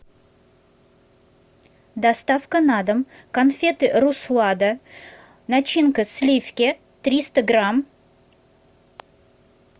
доставка на дом конфеты руслада начинка сливки триста грамм